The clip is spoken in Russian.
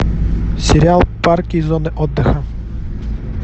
сериал парки и зоны отдыха